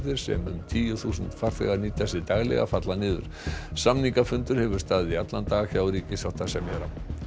sem um tíu þúsund farþegar nýta sér daglega falla niður samningafundur hefur staðið í allan dag hjá ríkissáttasemjara